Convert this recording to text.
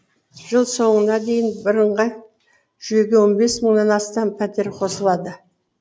жыл соңына дейін бірыңғай жүйеге он бес мыңнан астам пәтер қосылады